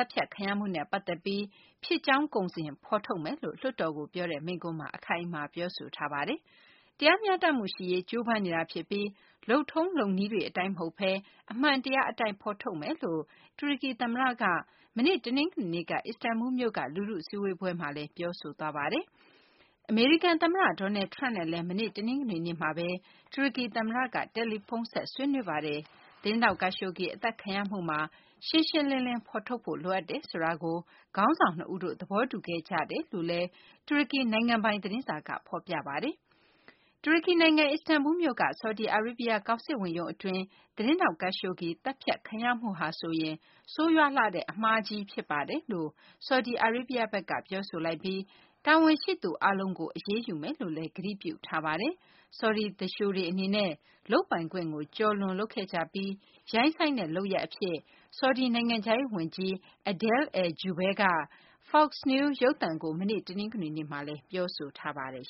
တ်ဖြတ်ခံရမှုနဲ့ ပတ်သက်ပြီး ဖြစ်ကြောင်းကုန်စင် ဖော်ထုတ်မယ်လို့ လွှတ်တော်ကို ပြောတဲ့ မိန့်ခွန်းမှာ အခိုင်အမာ ပြောဆိုသွားပါတယ်။ တရားမျှတမှုရှိရေး ကြိုးပမ်းနေတာ ဖြစ်ပြီး လုပ်ထုံးလုပ်နည်းတွေ အတိုင်း မဟုတ်ဘဲ အမှန်တရား အတိုင်း ဖော်ထုတ်မယ်လို့ တူရကီ သမ္မတက မနေ့ တနင်္ဂနွေနေ့က အစ္စတန်ဘူလ်းမြို့က လူထု စည်းဝေးပွဲမှာ ပြောဆိုသွားတာပါ။ အမေရိကန် သမ္မတ Donald Trump နဲ့လည်း မနေ့ တနင်္ဂနွေနေ့တုန်းက တူရကီ သမ္မတက တယ်လီဖုန်းဆက် ဆွေးနွေးခဲ့ပါတယ်။ သတင်းထောက် Khashoggi အသတ်ခံရမှုမှာ ရှင်းရှင်းလင်းလင်း ဖော်ထုတ်ဖို့ လိုအပ်တယ်ဆိုတာကို ခေါင်းဆောင် နှစ်ဦးတို့ သဘောတူခဲ့ကြကြောင်း တူရကီ နိုင်ငံပိုင် သတင်းစာက ဖော်ပြပါတယ်။ တူရကီ နိုင်ငံ အစ္စတန်ဘူလ်းမြို့က ဆော်ဒီအာရေးဗျ ကောင်စစ်ဝန်ရုံး အတွင်းမှာ သတင်းထောက် Khashoggi သတ်ဖြတ်ခံရမှုဟာဆိုရင် ဆိုးရွားလှတဲ့ အမှားကြီး ဖြစ်ပါတယ်လို့ ဆော်ဒီအာရေးဗျဘက်က ပြောဆိုလိုက်ပြီး တာဝန်ရှိသူတွေ အားလုံးကို အရေးယူမယ်လို့လည်း ကတိပြု ပြောဆိုပါတယ်။ ဆော်ဒီ သူလျှိုတွေ အနေနဲ့ လုပ်ပိုင်ခွင့်ကို ကျော်လွန်လုပ်ခဲ့ကြပြီး ရိုင်းစိုင်းတဲ့ လုပ်ရပ် အဖြစ် ဆော်ဒီ နိုင်ငံခြားရေး ဝန်ကြီး Adel al-Jubeir က Fox News ရုပ်သံကို မနေ့ တနင်္ဂနွေနေ့က ပြောဆိုထားပါတယ်